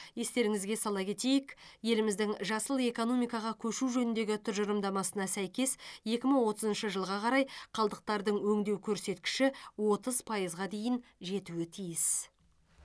естеріңізге сала кетейік еліміздің жасыл экономикаға көшу жөніндегі тұжырымдамасына сәйкес екі мың отызыншы жылға қарай қалдықтардың өңдеу көрсеткіші отыз пайызға дейін жетуі тиіс